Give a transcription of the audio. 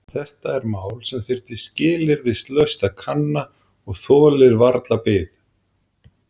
Þetta er mál sem þyrfti skilyrðislaust að kanna og þolir varla bið.